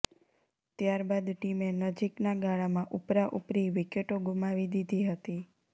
ત્યારબાદ ટીમે નજીકના ગાળામાં ઉપરા ઉપરી વિકેટો ગુમાવી દીધી હતી